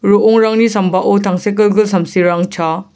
ro·ongrangni sambao tangsekgilgil samsirang chaa.